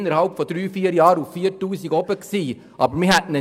innerhalb von drei bis vier Jahren verdienten diese 4000 Franken.